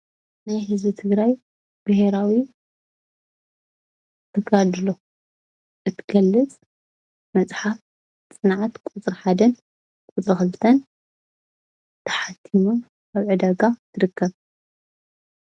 ናይ ህዝቢ ትግራይ ቢሄራዊ ተጋድሎ እትገልፅ መፅሓፍ ፅንዓት ቁፅሪ -1 ን ቁፅሪ - 2 ን ተሓቲሙ ኣብ ዕዳጋ ትርከብ፡፡